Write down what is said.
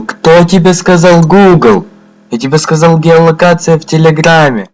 кто тебе сказал гугл я тебе сказал геолокация в телеграмме